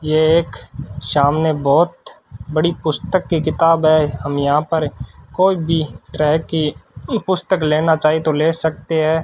ये एक सामने बहुत बड़ी पुस्तक की किताब है हम यहां पर कोई भी तरह की पुस्तक लेना चाहें तो ले सकते हैं।